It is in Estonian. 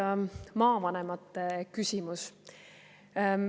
Esmalt maavanemate küsimus.